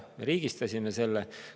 Me riigistasime selle.